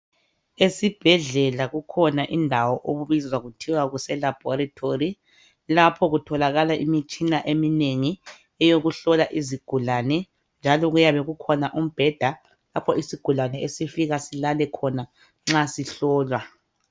Esibhedlela kukhona indawo okubizwa kuthiwa kuseLaboratory lapho kutholakala imitshina eminengi eyokuhlola izigulane njalo kuyabe kukhona umbheda lapho isigulane esifika silale khona nxa sihlolwa.